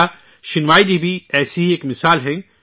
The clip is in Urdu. میرا شینائے جی بھی ایسی ہی ایک مثال ہیں